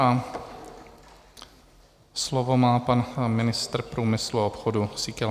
A slovo má pan ministr průmyslu a obchodu Síkela.